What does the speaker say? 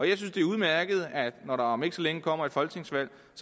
jeg synes det er udmærket når der om ikke så længe kommer et folketingsvalg